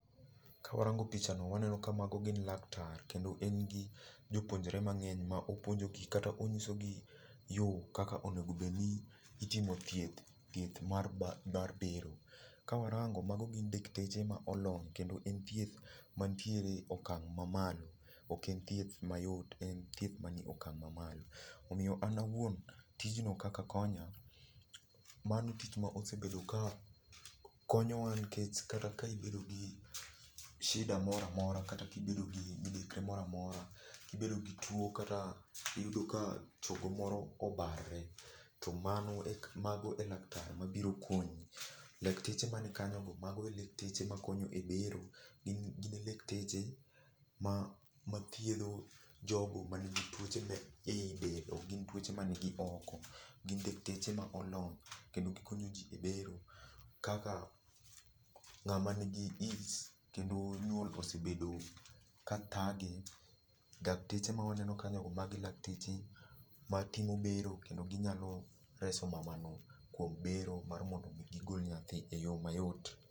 kawarango pichano waneno ka mago gin laktar kendo en gi jopuonjre mangeny ma opuonjogi kata onyisi gi yoo kaka onegobedi ni itimo thieth mar bero. kawarango mago gin dakteche ma olony kendo en thieth man tiere okang mamalo, ok en thieth mayot en thieth manie okang mamalo omiyo an awuon tijno kaka konya mano tich mosebedo ka konyowa nikech kata ka ibedo gi shida moramora kata ka ibedo gi midekre moramora, kibedo gituo kata iyudo ka chogo moro obarore to mago elaktar mabiro konyi, lakteche man kanyo go mago e lakteche makonyo e bero. gine lekteche mathiedho jogo manigi tuoche ma ei del kendo ok gin tuoche man gi oko, gin lakteche molony kendo gikonyo jii ebero, kaka ngama nigi ich kendo nyuol osebedo ka thage , dakteche mawaneno kanyago mago e lakteche matimo bero kendo ginyalo reso mamano kuom bero mar mondo mi gigol nyathi e yoo mayot.